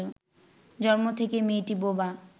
জন্ম থেকেই মেয়েটি বোবা